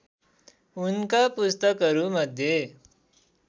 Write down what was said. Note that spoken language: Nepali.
उनका पुस्तकहरूमध्ये